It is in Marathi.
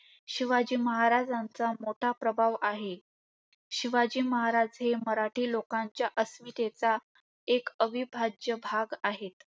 शिवाजी महाराजांचा मोठा प्रभाव आहे. शिवाजी महाराज हे मराठी लोकांचा अस्मितेचा एक अविभाज्य भाग आहेत.